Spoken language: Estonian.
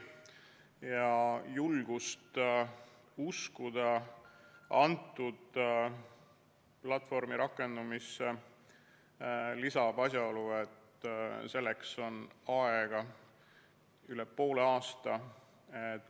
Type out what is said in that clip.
Aga julgust uskuda selle platvormi rakendamisse lisab asjaolu, et selleks on aega üle poole aasta.